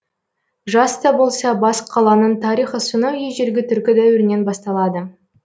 жас та болса бас қаланың тарихы сонау ежелгі түркі дәуірінен басталады